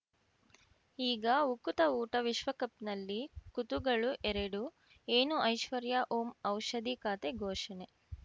ಈಗ ಉಕುತ ಊಟ ವಿಶ್ವಕಪ್‌ನಲ್ಲಿ ಕುತುಗಳು ಎರಡು ಏನು ಐಶ್ವರ್ಯಾ ಓಂ ಔಷಧಿ ಖಾತೆ ಘೋಷಣೆ